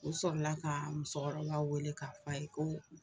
O sɔrɔla ka musokɔrɔba wele k'a fɔ a ye ko